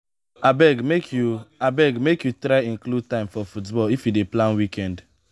abeg make you abeg make you try include time for football if you dey plan weekend